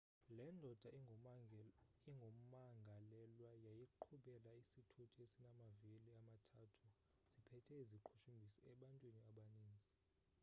le ndoda ingumangalelwa yayiqhubela isithuthi esinamavili amathathu siphethe iziqhushumbisi ebantwini abaninzi